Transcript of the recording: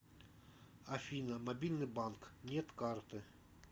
афина мобильный банк нет карты